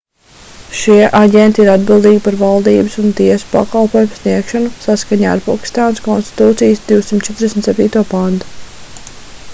šie aģenti ir atbildīgi par valdības un tiesu pakalpojumu sniegšanu saskaņā ar pakistānas konstitūcijas 247. pantu